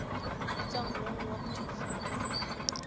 bitswang long walk to freedom